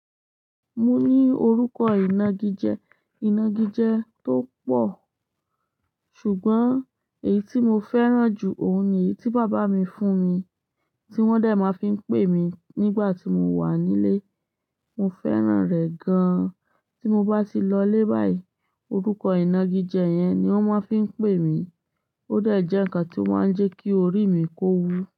Mo ní orúkọ ìnagijẹ, ìnagijẹ tó pọ̀. Ṣùgbọ́n èyí tí mo fẹ́ràn jù ọ̀ún ni èyí tí bàbá mi fún mi, tí wọ́n dàí máa fi ń pè mí nígbà tí mo wà nílé. Mo fẹ́ràn rẹ̀ gan-an. Tí mo bá ti lọ lé báyìí, orúkọ ìnagijẹ yẹn ni wọ́n máa fi ń pè mí. Ó dàí jẹ́ nǹkan tí ó máa ń jẹ́ kí orí mi kó wu.